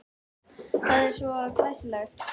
Það er svo glæsilegt.